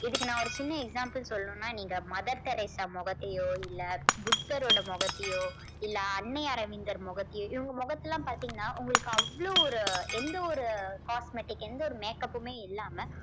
இதுக்கு நான் ஒரு சின்ன example சொல்லணும்னா நீங்க மதர் தெரேசா முகத்தையோ இல்ல புத்தரோட முகத்தையோ இல்ல அன்னை அரவிந்தர் முகத்தையோ இவங்க முகத்தை எல்லாம் பார்த்தீங்கன்னா உங்களுக்கு அவ்வளவு ஒரு எந்த ஒரு cosmetic எந்த ஒரு makeup மே இல்லாம